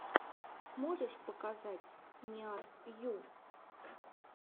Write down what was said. можешь показать ниар ю